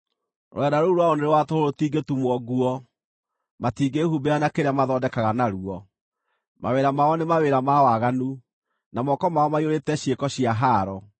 Rũrenda rũu rwao nĩ rwa tũhũ rũtingĩtumwo nguo; matiingĩhumbĩra na kĩrĩa mathondekaga naruo. Mawĩra mao nĩ mawĩra ma waganu, na moko mao maiyũrĩte ciĩko cia haaro.